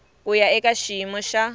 ku ya eka xiyimo xa